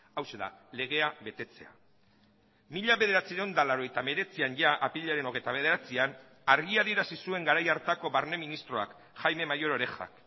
hauxe da legea betetzea mila bederatziehun eta laurogeita hemeretzian jada apirilaren hogeita bederatzian argi adierazi zuen garai hartako barne ministroak jaime mayor oreja